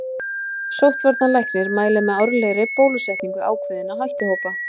Sóttvarnalæknir mælir með árlegri bólusetningu ákveðinna áhættuhópa.